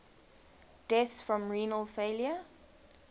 deaths from renal failure